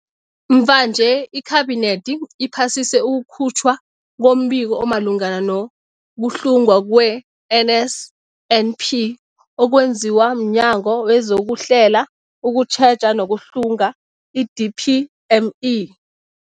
Mvanje, iKhabinethi iphasise ukukhutjhwa kombiko omalungana nokuhlungwa kwe-NSNP okwenziwe mNyango wezokuHlela, ukuTjheja nokuHlunga, i-DPME.